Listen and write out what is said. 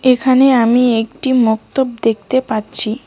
এখানে আমি একটি মোক্তপ দেখতে পাচ্ছি।